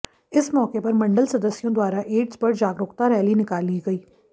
इस मौके पर मंडल सदस्यों द्वारा एड्स पर जागरूकता रैली निकाली गई